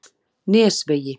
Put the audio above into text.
Nesvegi